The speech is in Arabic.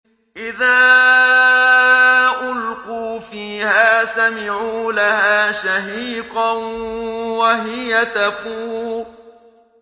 إِذَا أُلْقُوا فِيهَا سَمِعُوا لَهَا شَهِيقًا وَهِيَ تَفُورُ